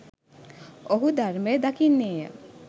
ඔහු ධර්මය දකින්නේය.